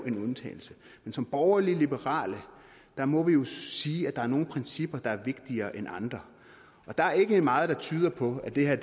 en undtagelse men som borgerlige liberale må vi jo sige at der er nogle principper der er vigtigere end andre og der er ikke meget der tyder på at det her